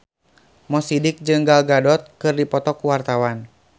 Mo Sidik jeung Gal Gadot keur dipoto ku wartawan